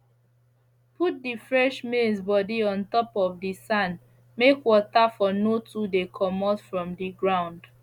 put the fresh maize body on top of the sand make water for no too dey comot from the ground